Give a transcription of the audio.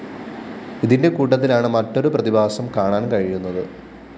ഇതിന്റെ കൂട്ടത്തിലാണ് മറ്റൊരു പ്രതിഭാസം കാണാന്‍ കഴിയുന്നത്